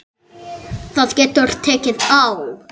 Það getur tekið á.